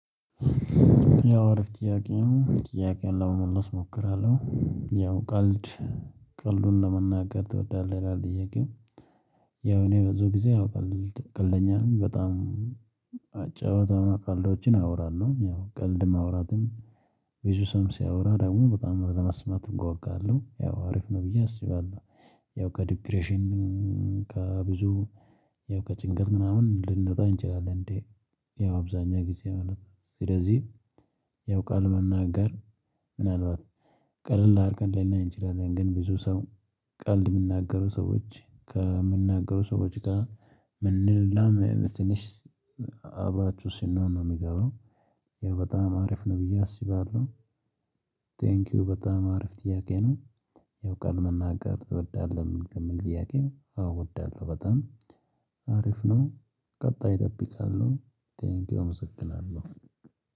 ያው አሪፍ ጥያቄ ነው ጥያቄውን ለመመለስ እሞክራለሁ ያው ቀልድ ቀልዱን ለመናገር ትወዳለህ ይላል ጥያቄው። ያው እኔ ብዙ ጊዜ አው ቀልድ ቀልደኛ ነኝ በጣም። አጨዋወት ቀልዶችን አወራለሁ ያው ቀልድም ማውራትም ቡዚስም ሲያወራ ደግሞ በጣም ለማስማት እጓጓለሁ ያው አሪፍ ነው ብዬ አስባለሁ። ያው ከዲፕሬሽን ከብዙ ያው ከጭንቀት ምናምን ልንወጣ እንችላለን እንዴ? ያው አብዛኛው ጊዜ ማለት ነው። ስለዚህ ያው ቃል መናገር ምናልባት ቀለል አድርገን ልናይ እንችላለን ግን ብዙ ሰው ቀልድ የሚናገሩ ሰዎች ከምንናገሩ ሰዎች ጋር ምንላመ ትንሽ አብራቹ ስንሆን ነው የሚገባው ያ በጣም አሪፍ ነው ብዬ አስባለሁ። ቴንኪው በጣም አሪፍ ጥያቄ ነው። ያው ቃል መናገር ትወዳለሁ የምል ጥያቄው? ኣዎ አወዳለሁ በጣም አሪፍ ነው። ቀጣይ ጠብቃለሁ ቴንኪው እመሰግናለሁ